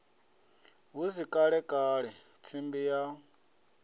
hu si kalekale tsimbi ya